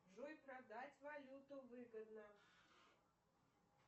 джой продать валюту выгодно